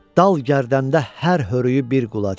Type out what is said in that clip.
Dal gərdəndə hər hörüü bir qulac.